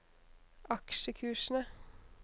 aksjekursene